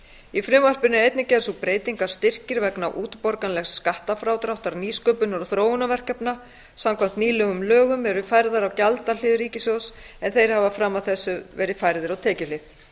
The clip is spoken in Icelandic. í frumvarpinu er einnig gerð sú breyting að styrkir vegna útborganlegs skattfrádráttar nýsköpunar og þróunarverkefna samkvæmt nýlegum lögum eru færðir á gjaldahlið ríkissjóðs en þeir hafa fram að þessu verið færðir á tekjuhlið